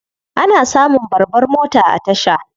Ana samun babbar mota a tasha.